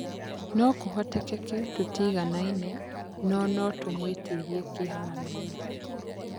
Nokũhoteke tũtiganaine no notũmwitirie kĩ haroinĩ .